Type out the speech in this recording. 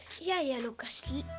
jæja Lúkas